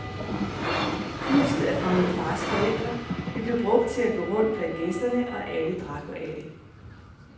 Kruset er fra min fars forældre, det blev brugt til at gå rundt blandt gæsterne, og alle drak af det.